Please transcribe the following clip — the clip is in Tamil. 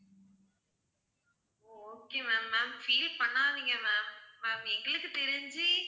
okay ma'am, ma'am feel பண்ணாதீங்க ma'am எங்களுக்கு தெரிஞ்சு,